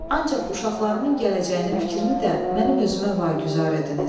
Ancaq uşaqlarımın gələcəyinin fikrini də mənim özümə vaqüzar ediniz.